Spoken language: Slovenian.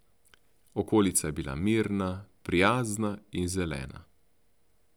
Okolica je bila mirna, prijazna in zelena.